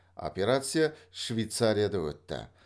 операция швейцарияда өтті